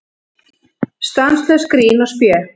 Stanslaust grín og spé.